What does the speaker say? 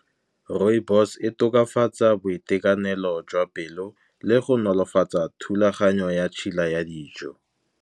Rooibos e tokafatsa boitekanelo jwa pelo, le go nolofatsa thulaganyo ya tšhila ya dijo.